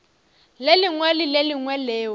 lengwe le le lengwe leo